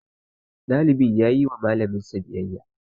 Ɗalibin ya yi ma Mallamin shi biyayya.